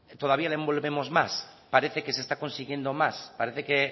todavía lo envolvemos más parece que se está consiguiendo más parece que